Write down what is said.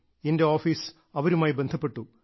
എന്റെ ഓഫീസ് അവരുമായി ബന്ധപ്പെട്ടു